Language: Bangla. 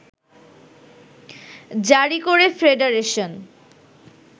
জারী করে ফেডারেশন